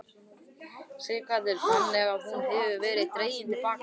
Sighvatur: Þannig að hún hefur verið dregin til baka?